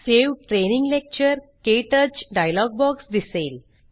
save training lecture - क्टच dialog box दिसेल